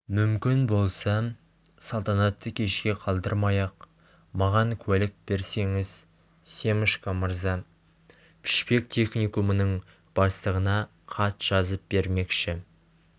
мүмкін болса салтанатты кешке қалдырмай-ақ маған куәлік берсеңіз семашко мырза пішпек техникумының бастығына хат жазып бермекші